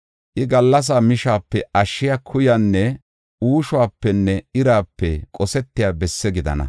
I, gallasa mishape ashshiya kuyanne uushopenne irape qosetiya besse gidana.